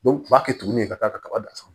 u b'a kɛ tuguni ka taa kaba dan san